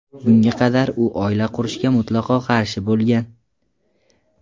Bunga qadar u oila qurishga mutlaqo qarshi bo‘lgan.